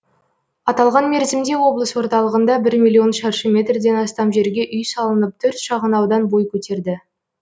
аталған мерзімде облыс орталығында бір миллион шаршы метрден астам жерге үй салынып төрт шағын аудан бой көтерді